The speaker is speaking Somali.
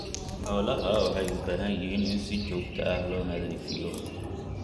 Xoolaha waxay u baahan yihiin in si joogto ah loo nadiifiyo.